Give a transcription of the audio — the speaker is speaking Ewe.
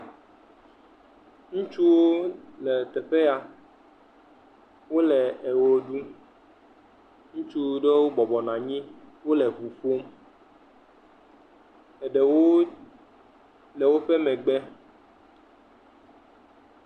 Ŋutsuwo le teƒe ya, wole ewɔ ɖu, ŋutsu ɖewo wobɔbɔ nɔ anyi, wole eŋu ƒom, eɖewo le woƒe megbe.